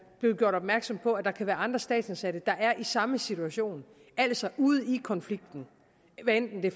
blevet gjort opmærksom på at der kan være andre statsansatte der er i samme situation altså ude i en konflikt hvad enten det